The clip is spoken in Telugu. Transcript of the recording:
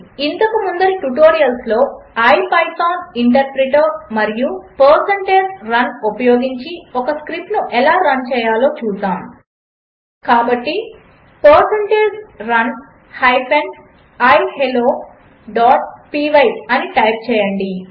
ఇంతకు ముందరి ట్యుటోరియల్స్లో ఇపిథాన్ ఇంటర్ప్రిటర్ మరియు పర్సెంటేజ్ రన్ ఉపయోగించి ఒక స్క్రిప్ట్ను ఎలా రన్ చేయాలో చూసాము కాబట్టి పర్సెంటేజ్ రన్ హైఫెన్ i helloపై అని టైప్ చేయండి